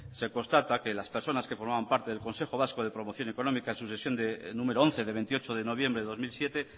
se constata que las personas que formaban parte del consejo vasco de promoción económica en su sesión número once de veintiocho de noviembre de dos mil siete